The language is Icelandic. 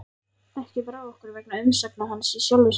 Ekki brá okkur vegna umsagna hans í sjálfu sér.